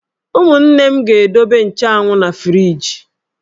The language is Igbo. Umunne m ga-edobe nchanwụ na friiji.